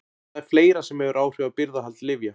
En það er fleira sem hefur áhrif á birgðahald lyfja.